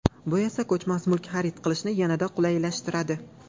Bu esa ko‘chmas mulk xarid qilishni yanada qulaylashtiradi!